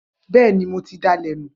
Bẹẹni, mótì dà lẹ̀ nu.